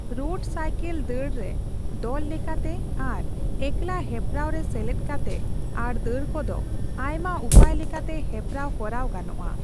Road cycle ᱫᱟᱹᱲ ᱨᱮ ᱫᱚᱞ ᱞᱮᱠᱟᱛᱮ ᱟᱨ ᱮᱠᱞᱟ ᱦᱮᱯᱨᱟᱣ ᱨᱮ ᱥᱮᱞᱮᱫ ᱠᱟᱛᱮ, ᱟᱨ ᱫᱟᱹᱲ ᱠᱚᱫᱚ ᱟᱭᱢᱟ ᱩᱯᱟᱹᱭ ᱞᱮᱠᱟᱛᱮ ᱦᱮᱯᱮᱨᱟᱣ ᱠᱚᱨᱟᱣ ᱜᱟᱱᱚᱜᱼᱟ ᱾